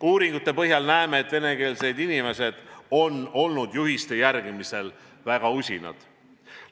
Uuringute põhjal näeme, et venekeelsed inimesed on olnud juhiste järgimisel väga usinad.